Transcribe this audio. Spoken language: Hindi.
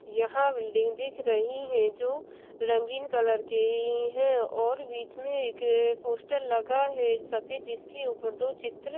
यहां बिल्डिंग दिख रही है जो रंगीन कलर की है और बीच में एक पोस्टर लगा है। जिसके ऊपर दो चित्र--